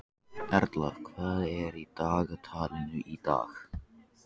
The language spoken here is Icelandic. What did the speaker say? Erla, hvað er í dagatalinu í dag?